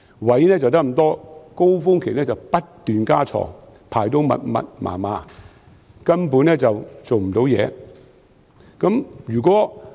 醫院只有這麼多空間，但高峰期時卻不斷增加病床，排列得密密麻麻，根本不能工作。